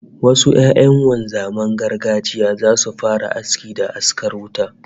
Wasu 'ya'yan wanzaman gargajiya zasu fara aski da askar wuta